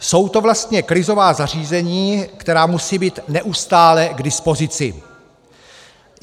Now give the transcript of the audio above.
Jsou to vlastně krizová zařízení, která musí být neustále k dispozici.